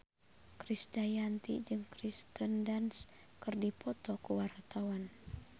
Krisdayanti jeung Kirsten Dunst keur dipoto ku wartawan